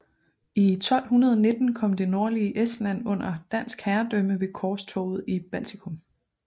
I 1219 kom det nordlige Estland under dansk herredømme ved korstoget i Baltikum